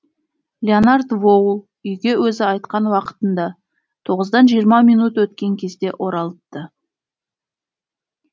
леонард воул үйге өзі айтқан уақытында тоғыздан жиырма минут өткен кезде оралыпты